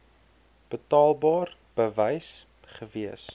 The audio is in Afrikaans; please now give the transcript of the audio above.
betaalbaar bewys gewees